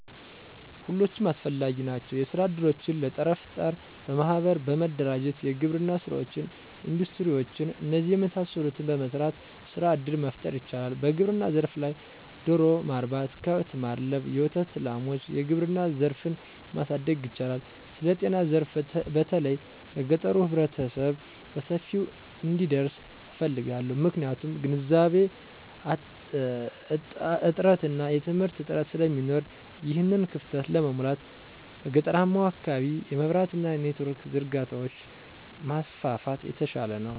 ሁሎችም አስፈላጊ ናቸዉ። የስራ እድሎችን ለጠረፍጠር በማሕበር በመደራጀት የግብርና ሥራወችን፣ እንዱስትሪ ውችን እነዚህን የመሳሰሉትን በመሰራት ሥራ እድል መፍጠር ይቻላል። በግብርና ዘርፍ ላይ ደሮ ማርባት፣ ከብት ማድለብ፣ የወተት ላሟች፣ የግብርና ዘርፉን ማሣደግ ይቻላል። ስለጤናዘርፋ በተለይ ለገጠሩህብረተሰብ በሰፊው እንዲደርስ እፈልጋለሁ። ምክንያቱም ግንዛቤ እጥአትና የትምህርት እጥረት ስለሚኖር። ይሕንን ክፋተት ለመሙላት፦ በገጠራማዉ አካባቢ የመብራት አና የኔትወርክ ዝርጋታዎችን ማስፋፋት የተሻለ ነዉ